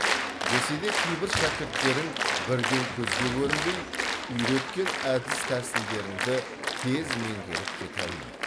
десе де кейбір шәкірттерің бірден көзге көрінбей үйреткен әдіс тәсілдеріңді тез меңгеріп кете алмайды